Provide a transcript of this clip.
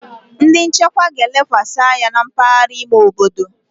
Ndi nchekwa ga-elekwasị anya na mpaghara ime obodo.